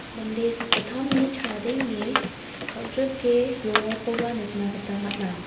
mande sakgittamni chadenge kal·grike roakoba nikna gita man·a.